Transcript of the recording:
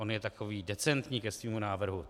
On je takový decentní ke svému návrhu.